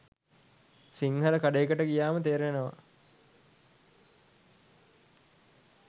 සිංහල කඩේකට ගියාම තෙරෙනේව